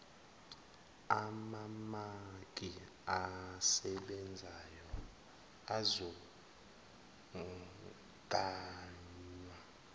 amamaki asebenzayo azogaywa